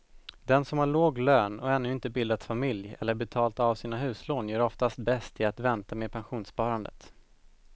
Den som har låg lön och ännu inte bildat familj eller betalat av sina huslån gör oftast bäst i att vänta med pensionssparandet.